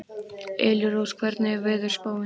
Elírós, hvernig er veðurspáin?